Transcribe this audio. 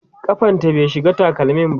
kafanta bai shiga takalmi ba